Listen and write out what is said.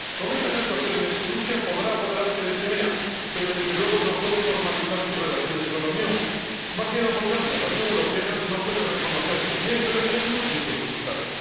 Con estas actuaciones, Rusia podrá apoderarse de Crimea, pero desde luego no puede normalizar sus relaciones con la Unión. Más bien, lo contrario la Unión Europea no puede reconocer ni ese referéndum ni sus resultados.